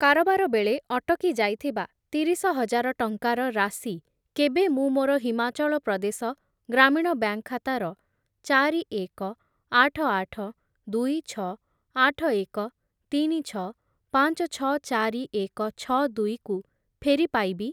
କାରବାର ବେଳେ ଅଟକି ଯାଇଥିବା ତିରିଶ ହଜାର ଟଙ୍କାର ରାଶି କେବେ ମୁଁ ମୋର ହିମାଚଳ ପ୍ରଦେଶ ଗ୍ରାମୀଣ ବ୍ୟାଙ୍କ୍‌ ଖାତାର ଚାରି, ଏକ, ଆଠ, ଆଠ, ଦୁଇ, ଛଅ, ଆଠ, ଏକ, ତିନି, ଛଅ, ପାଞ୍ଚ, ଛଅ, ଚାରି, ଏକ, ଛଅ, ଦୁଇ କୁ ଫେରି ପାଇବି?